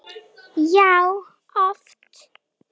Já, oft.